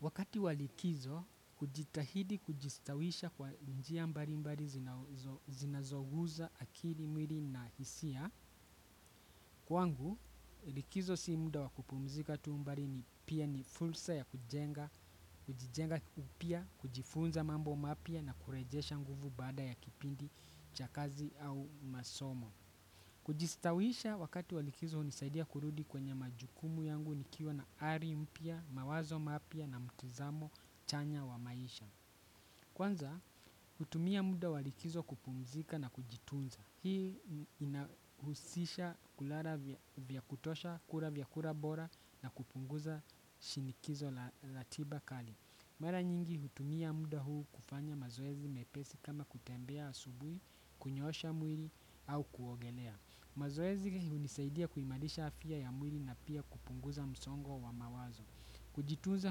Wakati walikizo, kujitahidi kujistawisha kwa njia mbali mbali zinazoguza akiri mwiri na hisia. Kwangu, likizo simda wakupumzika tu mbali ni pia ni fulsa ya kujenga, kujijenga upia, kujifunza mambo mapia na kurejesha nguvu bada ya kipindi, chakazi au masomo. Kujistawisha wakati wa likizo unisaidia kurudi kwenye majukumu yangu nikiwa na ari mpia, mawazo mapia na mtizamo chanya wa maisha. Kwanza hutumia muda walikizo kupumzika na kujitunza. Hii inahusisha kulala vya kutosha kula vyakura bora na kupunguza shinikizo la ratiba kali. Mara nyingi hutumia muda huu kufanya mazoezi mepesi kama kutembea asubuhi, kunyoosha mwili au kuogelea. Mazoezi hunisaidia kuimarisha afya ya mwili na pia kupunguza msongo wa mawazo. Kujitunza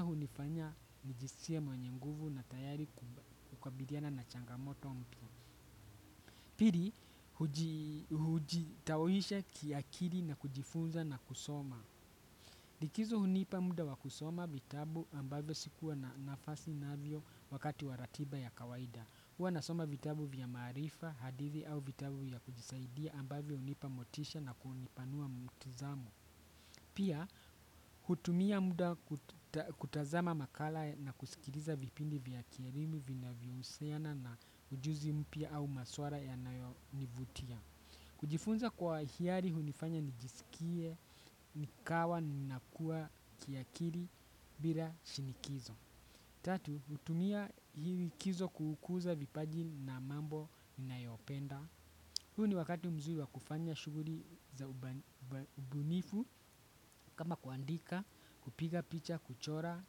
hunifanya nijiskie mwenye nguvu na tayari kukabiliana na changamoto mpya. Piri hujitawisha kiakili na kujifunza na kusoma. Likizo hunipa muda wa kusoma vitabu ambavyo sikuwa na nafasi navyo wakati wa ratiba ya kawaida. Huwa nasoma vitabu vya maarifa, hadithi au vitabu ya kujisaidia ambavyo hunipa motisha na kunipanua mtizamo. Pia, hutumia muda kutazama makala na kusikiliza vipindi vya kielimu vinavyohusiana na ujuzi mpya au maswara yanayonivutia. Kujifunza kwa hiari hunifanya nijisikie, nikawa, ninakuwa kiakiri, bila shinikizo. Tatu, hutumia hii likizo kuukuza vipaji na mambo ninayopenda. Huu ni wakati mzuri wa kufanya shughuri za ubunifu kama kuandika, kupiga picha, kuchora,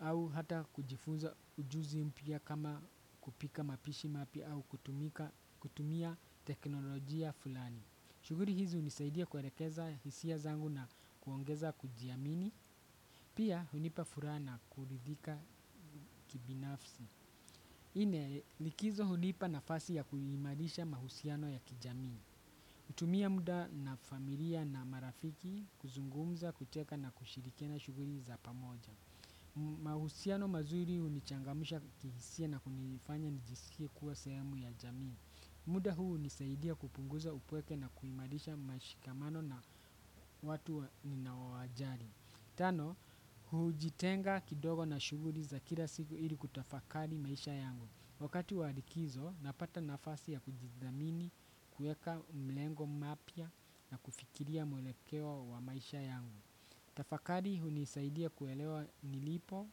au hata kujifunza ujuzi mpya kama kupika mapishi mapya au kutumia teknolojia fulani. Shuguri hizi hunisaidia kuerekeza hisia zangu na kuongeza kujiamini. Pia hunipa furaha na kuridhika kibinafsi. Nne likizo hunipa nafasi ya kuimarisha mahusiano ya kijamii. Hutumia muda na familia na marafiki kuzungumza kucheka na kushirikiana shughuri za pamoja. Mahusiano mazuri hunichangamsha kihisia na kunifanya nijisikie kuwa sehemu ya jamii. Muda huu hunisaidia kupunguza upweke na kuimarisha mashikamano na watu ninaowajali. Tano, hujitenga kidogo na shughuri za kila siku ili kutafakari maisha yangu. Wakati wa likizo, napata nafasi ya kujidhamini, kuweka mlengo mapya na kufikiria mwelekeo wa maisha yangu. Tafakari hunisaidia kuelewa nilipo,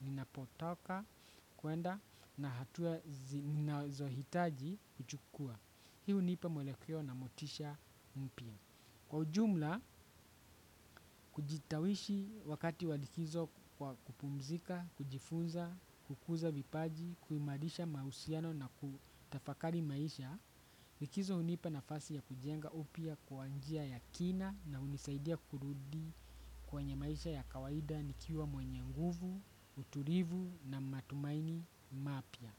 ninapotoka, kuenda, na hatua zinazohitaji kuchukuwa. Hii hunipa mwelekeo na motisha mpya. Kwa ujumla, kujitawishi wakati wa likizo kwa kupumzika, kujifunza, kukuza vipaji, kuimarisha mahusiano na kutafakari maisha, likizo hunipa nafasi ya kujenga upya kwa njia ya kina na hunisaidia kurudi kwenye maisha ya kawaida nikiwa mwenye nguvu, uturivu na matumaini mapya.